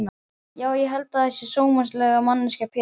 Já ég held að ég sé sómasamleg manneskja Pétur.